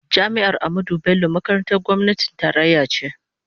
Jami'ar Ahmadu Bello makarantar gwamnatin tarayya ce.